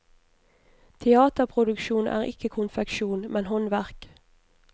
Teaterproduksjon er ikke konfeksjon, men håndverk.